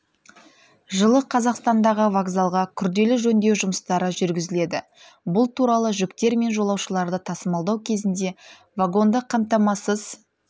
жылы қазақстандағы вокзалға күрделі жөндеу жұмыстары жүргізіледі бұл туралы жүктер мен жолаушыларды тасымалдау кезінде вагонды қамтамасыз